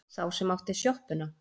Sá sem átti sjoppuna.